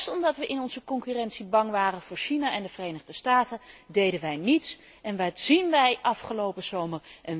Juist omdat wij in onze concurrentie bang waren voor China en de Verenigde Staten deden wij niets. En wat zien wij afgelopen zomer?